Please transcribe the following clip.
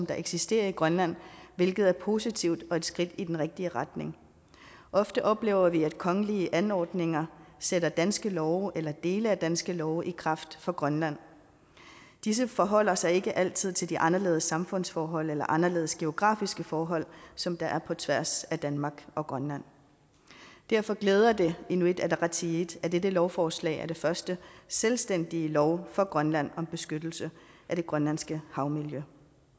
der eksisterer i grønland hvilket er positivt og et skridt i den rigtige retning ofte oplever vi at kongelige anordninger sætter danske love eller dele af danske love i kraft for grønland disse forholder sig ikke altid til de anderledes samfundsforhold eller anderledes geografiske forhold som der er på tværs af danmark og grønland derfor glæder det inuit ataqatigiit at dette lovforslag er den første selvstændige lov for grønland om beskyttelse af det grønlandske havmiljø